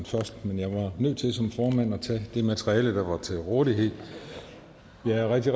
først men jeg var nødt til som formand at tage det materiale der var til rådighed jeg er rigtig